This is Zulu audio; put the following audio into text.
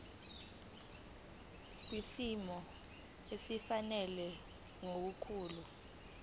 kwisimo esifanele nokukhula